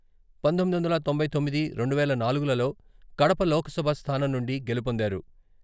పంతొమ్మిది వందల తొంభై తొమ్మిది, రెండు వేల నాలుగులలో కడప లోక్సభ స్థానం నుండి గెలుపొందారు.